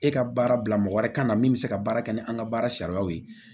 E ka baara bila mɔgɔ wɛrɛ ka na min bɛ se ka baara kɛ ni an ka baara sariyaw ye